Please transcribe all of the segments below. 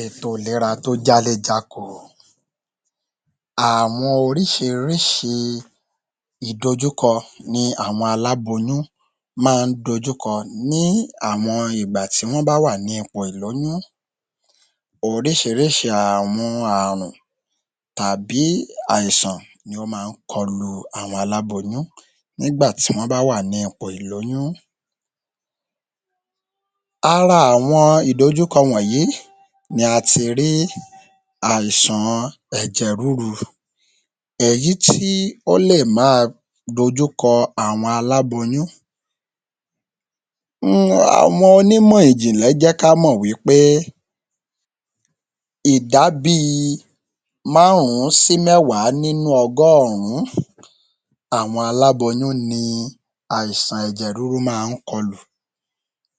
Ètò ìlera tó jáléjáko. Àwọn oríṣiríṣi ìdojúkọ ni àwọn aláboyún ma ń dojúkọ ní àwọn ìgbà tí wọ́n bá wà ní ipò ìlóyún. Oríṣiríṣi àwọn àrùn tàbí àìsàn ni ó ma ń kọlu àwọn aláboyún nígbà tí wọ́n bá wà ní ipò ìlóyún. Ara àwọn ìdojúkọ wọ̀nyí ni a ti rí àìsàn ẹ̀jẹ̀ rúru. Èyí tí ó lè ma dojú kọ àwọn aláboyún. Àwọn onímọ̀ ìjìnlẹ̀ jẹ́ ká mọ̀ wí pé ìdá bí i márùn-ún sí mẹ́wàá nínú ọgọ́rùn-ún àwọn aláboyún ni àìsàn ẹ̀jẹ̀ rúru máa ń kọlù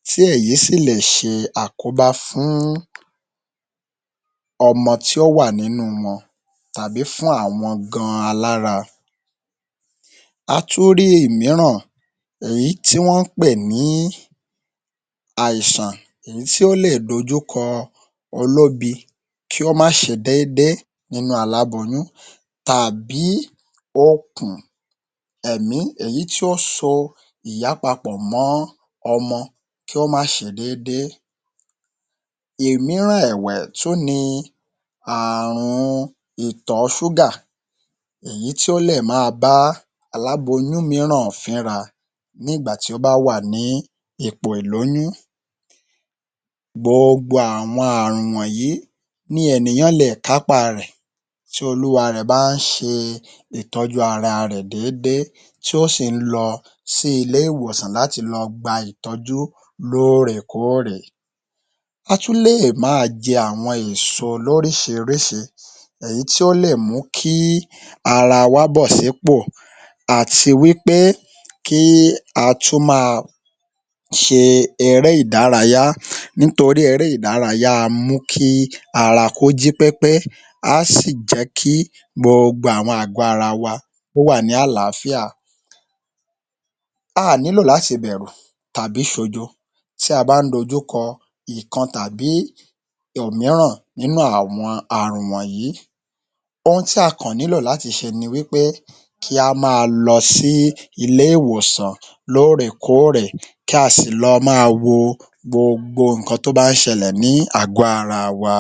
tí èyí sì lè ṣe àkóbá fún ọmọ ti ó wà nínú wọn tàbí fún àwọn gan-an alára. A tún rí ìmíràn èyí tí wọ́n pè ní àìsàn èyí tí ó lè dojúkọ olóbi kí ó má ṣe déédé nínú aláboyún tàbí okùn ẹ̀mí èyí tí ó so ìyá papọ̀ mọ́ ọmọ kí ó má ṣe déédé. Ìmíràn ẹ̀wẹ̀ tún ni ààrun ìtọ̀ ọ ṣúgà èyí tí ó lè ma bá aláboyún míràn fínra ní ìgbà tí ó bá wà ní ipò ìlóyún gboogbo àwọn ààrùn wọ̀nyí ni ènìyàn le è kápá a rẹ̀ tí olúwarẹ̀ bá ń ṣe ìtọ́jú ara rẹ̀ déédé tí ó sì ń lọ sí ilé ìwòsàn láti lọ gba ìtọ́jú lóòrèkóòrè. A tún lè máa jẹ àwọn ìso lóríṣiríṣi èyí tí ó lè mú kí ara wá bò sípò àti wí pé kí a tún máa ṣe eré ìdárayá nítorí eré ìdárayá a mú kí ara kó jí pépé á sì jẹ́ kí gbogbo àwọn àgó ara wa kí ó wà ní àláfíà. A à nílò láti bẹ̀rù tàbí ṣojo tí a bá ń dojúkọ ìkan tàbí òmíràn nínú àwọn àrùn wọ̀nyí, ohun tí a kàn nílò láti ṣe ni wí pé kí a ma lọ sí ilé-ìwòsàn lóòrèkóòrè kí a sì lọ máa wo gbogbo ǹkan tó bá ń ṣẹlẹ̀ ní àgó ara wa.